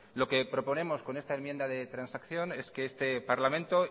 lo que proponemos con esa enmienda de transacción es que este parlamento